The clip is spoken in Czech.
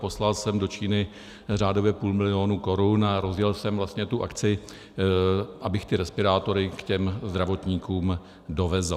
Poslal jsem do Číny řádově půl milionu korun a rozjel jsem vlastně tu akci, abych ty respirátory k těm zdravotníkům dovezl.